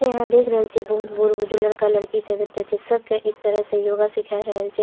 इ यहां देख रहल छीये बहुत बुजुर्ग लड़का लड़की सब एता छै सबके एक तरह से योगा सिखाय रहल छै।